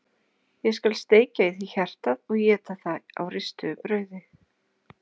Ég skal steikja í þér hjartað og éta það á ristuðu brauði!